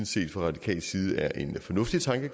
set fra radikal side er en fornuftig tanke